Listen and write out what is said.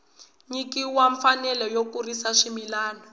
nyikiwa mfanelo yo kurisa swimila